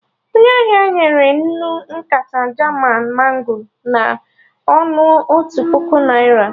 Onye ahịa nyere mụ nkata Jaman mango na ọnụ otu puku naira